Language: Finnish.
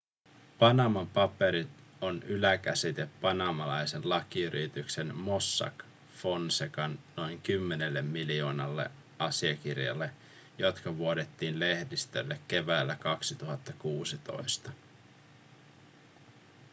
panaman paperit on yläkäsite panamalaisen lakiyrityksen mossack fonsecan noin kymmenelle miljoonalle asiakirjalle jotka vuodettiin lehdistölle keväällä 2016